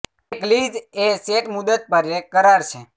એક લીઝ એ સેટ મુદત પર એક કરાર છે